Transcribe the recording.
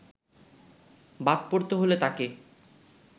বাদ পড়তে হল তাঁকে